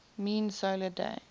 mean solar day